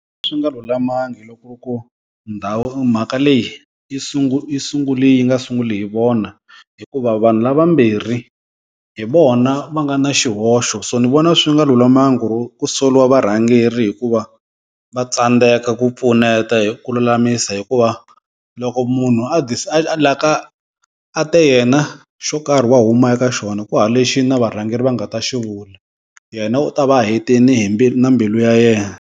Swi nga lulamangi loko ku ndhawu mhaka leyi yi yi sungule yi nga sunguli hi vona hikuva vanhu lavambirhi hi vona va nga na xihoxo so ni vona swi nga lulamangi ku ri ku soliwa varhangeri hikuva va tsandzeka ku pfuneta hi ku lulamisa hikuva loko munhu a te yena xo karhi wa huma eka xona ku hava lexi na varhangeri va nga ta xivula yena u ta va hetini hi mbilu na mbilu ya yena.